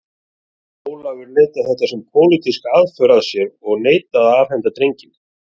Ólafur leit á þetta sem pólitíska aðför að sér og neitaði að afhenda drenginn.